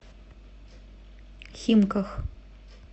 химках